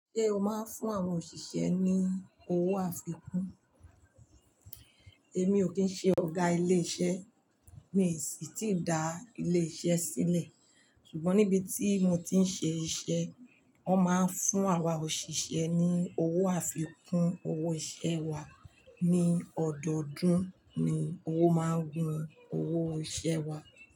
Ṣé o máa ń fún àwọn òṣìṣẹ́ ní owó àfikún? Èmi ò kín ṣe ọ̀gá ilé iṣẹ́, mi sì ti da ilé iṣẹ́ sílẹ̀. Ṣùgbọ́n níbi tí mo ti ń ṣe iṣẹ́, wọn máa ń fún àwa òṣìṣẹ́ ní owó àfikún. Owó iṣẹ́ wa ní ọdọọdún ni owó máa ń gun owó iṣẹ́ wa.